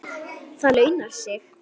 Það launar sig.